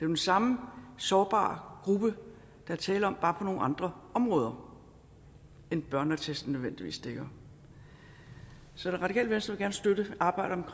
den samme sårbare gruppe der er tale om bare på nogle andre områder end børneattesten nødvendigvis dækker så det radikale venstre vil gerne støtte arbejdet